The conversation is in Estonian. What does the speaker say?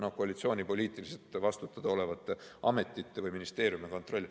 No koalitsiooni poliitiliselt vastutada olevate ametite või ministeeriumi kontroll.